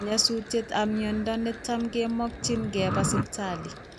Nyosutiet ab miondo netam komakyin kee keba sipitali